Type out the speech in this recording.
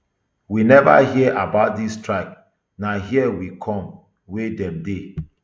we neva hear about dis strike na hia we come wey dem dey